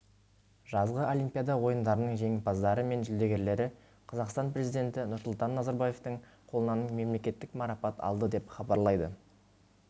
жазғы олимпиада ойындарының жеңімпаздары мен жүлдегерлері қазақстан президенті нұрсұлтан назарбаевтың қолынан мемлекеттік марапат алды деп хабарлайды